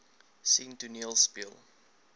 sien toneel speel